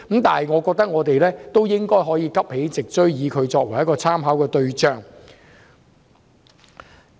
但是，我認為香港應該有能力急起直追，視英國作為參考對象。